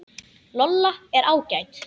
Lolla er ágæt.